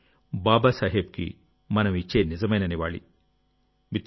ఇదే బాబా సాహెబ్కి మనం ఇచ్చే నిజమైన నివాళి